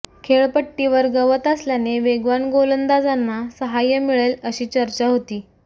खेळपट्टीवर गवत असल्याने वेगवान गोलंदाजांना साहाय्य मिळेल अशी चर्चा होती